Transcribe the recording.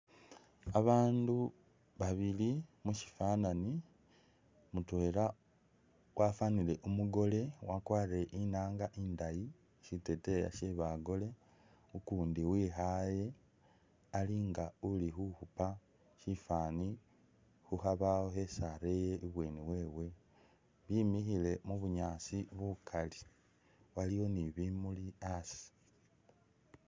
Babandu babili musifanani mutwela wafanile umugole wakwarile inanga indayi, siteteya she'bagole ukundi wekhale alinga ulikhukhupa bifani khukhabawo khesi areye ibweni wewe wemikhile mubunyaasi bukaali aliwo ni'bimuli asii